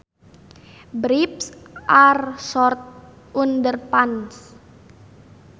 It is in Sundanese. Briefs are short underpants